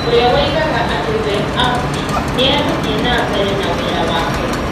ũrĩa woigaga atĩ we (Abdi) nĩ egũthiĩ na mbere na wĩra wake